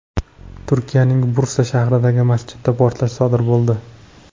Turkiyaning Bursa shahridagi masjidda portlash sodir bo‘ldi.